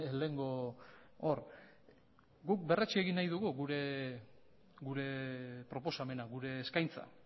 lehengo hor guk berretsi egin nahi dugu gure proposamena gure eskaintza